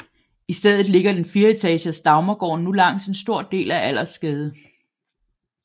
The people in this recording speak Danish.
I stedet ligger den fireetages Dagmargården nu langs en stor del af Allersgade